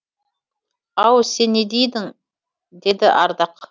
ау сен не дедің деді ардақ